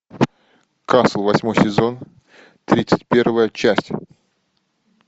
касл восьмой сезон тридцать первая часть